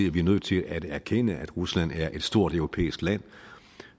at vi nødt til at erkende at rusland er et stort europæisk land